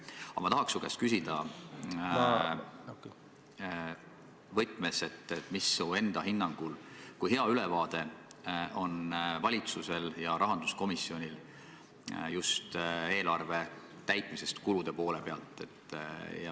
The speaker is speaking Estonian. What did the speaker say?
Aga ma tahan su käest küsida selles võtmes, et kui hea ülevaade sinu enda hinnangul on valitsusel ja rahanduskomisjonil eelarve täitmisest just kulude poole pealt.